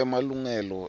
emalungelo